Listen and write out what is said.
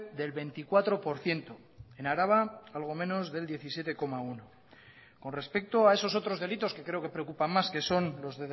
del veinticuatro por ciento en araba algo menos del diecisiete coma uno con respecto a esos otros delitos que creo que preocupan más que son los